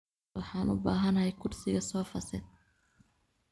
Waxan ubahanhy kursiga sofa set.